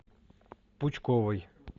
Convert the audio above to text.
пучковой